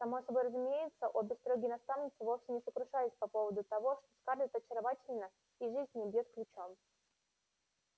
само собой разумеется обе строгие наставницы вовсе не сокрушались по поводу того что скарлетт очаровательна и жизнь в ней бьёт ключом